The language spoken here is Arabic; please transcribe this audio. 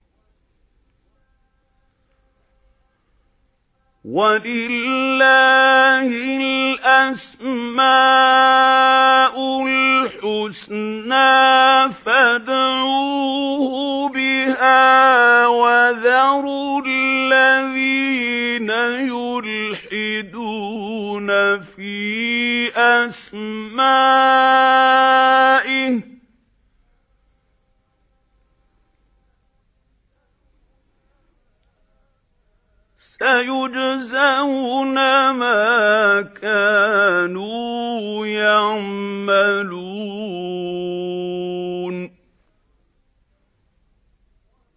وَلِلَّهِ الْأَسْمَاءُ الْحُسْنَىٰ فَادْعُوهُ بِهَا ۖ وَذَرُوا الَّذِينَ يُلْحِدُونَ فِي أَسْمَائِهِ ۚ سَيُجْزَوْنَ مَا كَانُوا يَعْمَلُونَ